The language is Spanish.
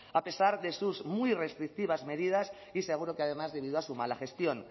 a pesar de sus muy restrictivas medidas y seguro que además debido a su mala gestión